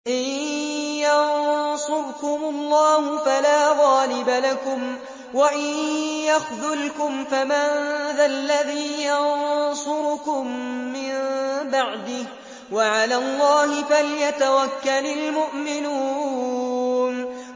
إِن يَنصُرْكُمُ اللَّهُ فَلَا غَالِبَ لَكُمْ ۖ وَإِن يَخْذُلْكُمْ فَمَن ذَا الَّذِي يَنصُرُكُم مِّن بَعْدِهِ ۗ وَعَلَى اللَّهِ فَلْيَتَوَكَّلِ الْمُؤْمِنُونَ